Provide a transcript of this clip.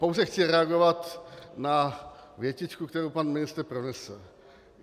Pouze chci reagovat na větičku, kterou pan ministr pronesl.